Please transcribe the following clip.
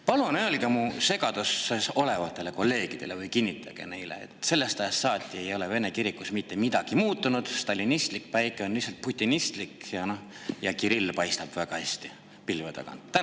Palun öelge mu segaduses olevatele kolleegidele või kinnitage neile, et sellest ajast saati ei ole Vene kirikus mitte midagi muutunud, stalinistlik päike on lihtsalt putinistlik ja Kirill paistab väga hästi pilve tagant.